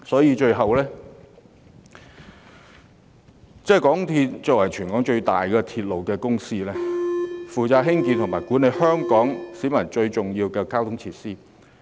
因此，港鐵公司是香港的鐵路公司，負責興建、營運和管理對市民而言最重要的交通設施。